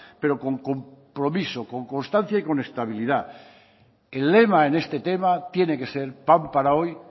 pero con compromiso con constancia y con estabilidad el lema en este tema tiene que ser pan para hoy